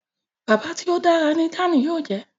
Bàbá tí o dára ní Dàn yóò jé.